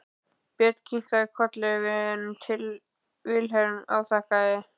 Björn kinkaði kolli en Vilhelm afþakkaði.